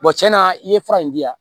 tiɲɛna i ye fura in di yan